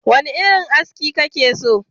Wane irin aski kake so?